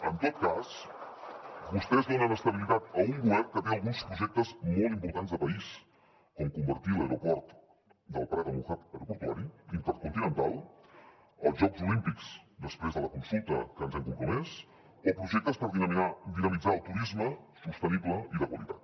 en tot cas vostès donen estabilitat a un govern que té alguns projectes molt importants de país com convertir l’aeroport del prat en un hub aeroportuari intercontinental els jocs olímpics després de la consulta a què ens hem compromès o projectes per dinamitzar el turisme sostenible i de qualitat